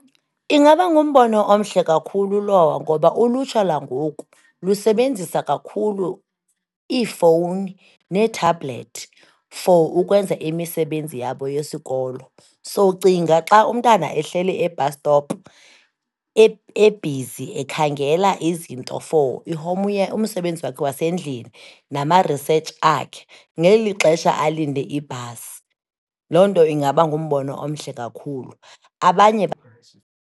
Ingaba ngumbono omhle kakhulu lowo, ngoba ulutsha langoku lusebenzisa kakhulu iifowuni neethabhlethi for ukwenza imisebenzi yabo yesikolo. So, cinga xa umntana ehleli e-bus stop ebhizi ekhangela izinto for umsebenzi wakhe wasendlini nama-research akhe, ngeli xesha alinde ibhasi. Loo nto ingaba ngumbono omhle kakhulu, abanye .